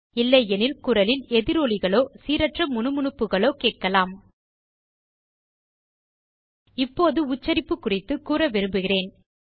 இல்லை எனில் குரலில் எதிரொலிகளோ சீரற்ற முனுமுனுப்புகளோக் கேட்கலாம் இப்போது உச்சரிப்பு குறித்துக் கூற விரும்புகிறேன்